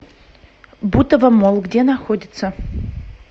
бутово молл где находится